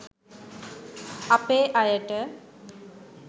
අපේ අයට